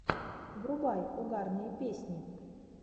врубай угарные песни